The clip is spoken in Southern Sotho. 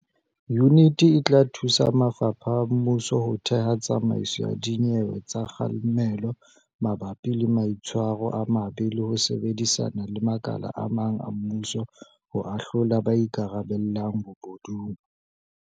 Yuniti e tla thusa mafapha a mmuso ho theha tsamaiso ya dinyewe tsa kga lemelo mabapi le maitshwaro a mabe le ho sebedisana le makala a mang a mmuso ho ahlola ba ikarabellang bobo dung.